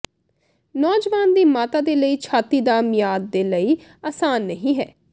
ਨੌਜਵਾਨ ਦੀ ਮਾਤਾ ਦੇ ਲਈ ਛਾਤੀ ਦਾ ਮਿਆਦ ਦੇ ਲਈ ਆਸਾਨ ਨਹੀ ਹੈ